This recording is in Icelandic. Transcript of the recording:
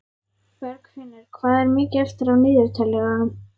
Bergfinnur, hvað er mikið eftir af niðurteljaranum?